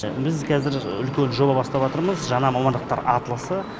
біз қазір үлкен жоба жаңа мамандықтар атласы